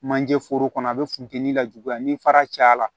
Manje foro kɔnɔ a bɛ funteni lajuguya ni fara caya la